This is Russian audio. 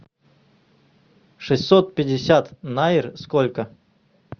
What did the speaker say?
шестьсот пятьдесят найр сколько